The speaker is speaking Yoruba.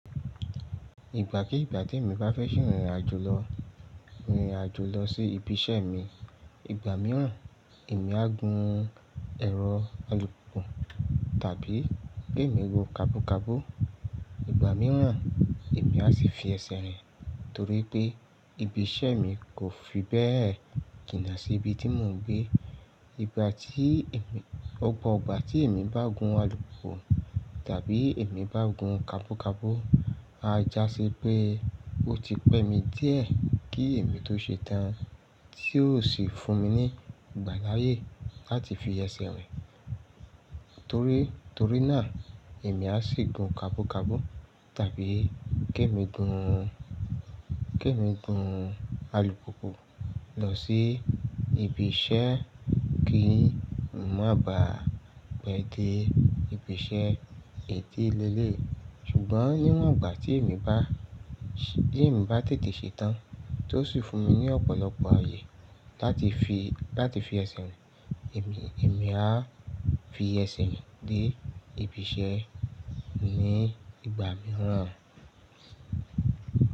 Ìgbà kí ìgbà tí èmi bá fẹ́ ṣe ìrìn àjò lọ, ìrìn àjò lọ sí ibi iṣẹ́ mi. Ìgbà mìíràn èmi á gun ẹ̀rọ alùpùpù tàbí ké mi gun kabúkabú. Ìgbà mìíràn èmi á sì fi ẹsẹ̀ rìn torí pé ibi iṣẹ́ mi kò fi bẹ́ẹ̀ jínà sí ibi tí mò ń gbé. Ìgbà tí èmi, ọ̀pọ̀ igbà tí èmi bá gun alùpùpù tàbí èmi bá gun kabúkabú, a já sí pé ó ti pẹ́ mi díẹ̀ kí èmi tó ṣe tán tí ó sì fún mi ní ìgbà láyè láti fi ẹsẹ̀ rìn. Torí, torí náà èmi á sì gun kabúkabú tàbí gé mi gun, gé mi gun alùpùpù lọ sí ibi iṣẹ́ kí mò má ba à pẹ́ dé ibi iṣẹ́ etí léle. Ṣùgbọ́n níwọ̀n ọ̀gbà tí èmi bá, tí èmi bá tètè ṣe tán tí ó sì fún mi ní ọ̀pọ̀lọpọ̀ ayé láti fi, láti fi ẹsẹ̀ rìn. Èmi, èmi á fi ẹsẹ̀ mi dé ibi iṣẹ́ ní ìgbà mìíràn.